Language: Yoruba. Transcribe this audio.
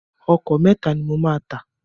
Ọkọ̀ mẹ́ta ni mo máa tà.